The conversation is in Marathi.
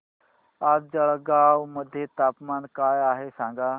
आज जळगाव मध्ये तापमान काय आहे सांगा